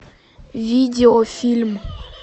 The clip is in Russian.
видеофильм